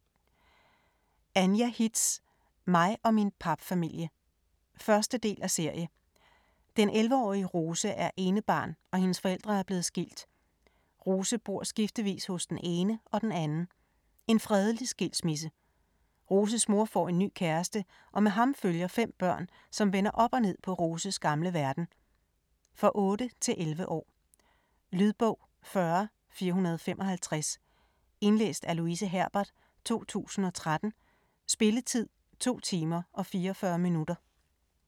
Hitz, Anja: Mig og min papfamilie 1. del af serie. Den 11 årige Rose er enebarn og hendes forældre er blevet skilt. Rose bor skiftevis hos den ene og den anden. En fredelig skilsmisse. Roses mor får en ny kæreste og med ham følger 5 børn, som vender op og ned på Roses gamle verden. For 8-11 år. Lydbog 40455 Indlæst af Louise Herbert, 2013. Spilletid: 2 timer, 44 minutter.